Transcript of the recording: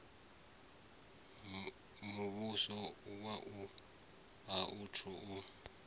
muvhuso a u athu u